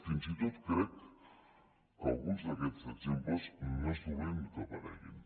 fins i tot crec que alguns d’aquests exemples no és dolent que apareguin